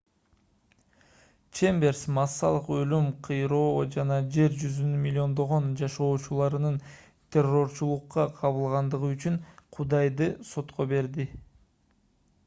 чемберс массалык өлүм кыйроо жана жер жүзүнүн миллиондогон жашоочуларынын террорчулукка кабылгандыгы үчүн кудайды сотко берди